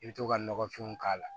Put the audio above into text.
I bɛ to ka nɔgɔfinw k'a la